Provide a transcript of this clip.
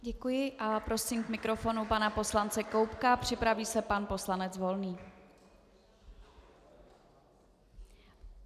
Děkuji a prosím k mikrofonu pana poslance Koubka, připraví se pan poslanec Volný.